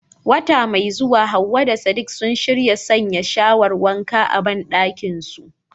Wata mai zuwa Hawwa da Sadiq sun shirya sanya shawar wanka na zamani a bandakinsu dinsu.